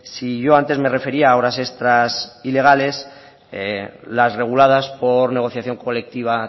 si yo antes me refería a horas extras ilegales las reguladas por negociación colectiva